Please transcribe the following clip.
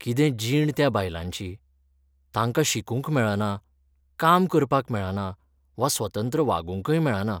कितें जीण त्या बायलांची, तांकां शिकूंक मेळना, काम करपाक मेळना वा स्वतंत्र वागूंयकय मेळना.